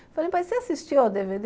Falei, mas você assistiu ao dê vê dê?